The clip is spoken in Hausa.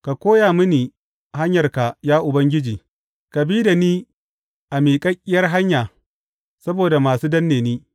Ka koya mini hanyarka, ya Ubangiji; ka bi da ni a miƙaƙƙiyar hanya saboda masu danne ni.